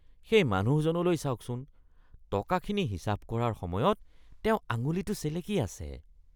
সেই মানুহজনলৈ চাওকচোন। টকাখিনি হিচাপ কৰাৰ সময়ত তেওঁ আঙুলিটো চেলেকি আছে।